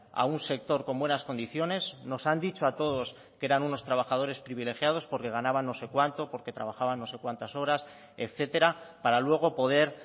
a un sector con buenas condiciones nos han dicho a todos que eran unos trabajadores privilegiados porque ganaban no sé cuánto porque trabajaban no sé cuantas horas etcétera para luego poder